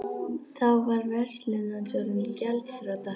Þá var verslun hans orðin gjaldþrota.